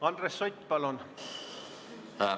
Andres Sutt, palun!